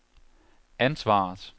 ansvaret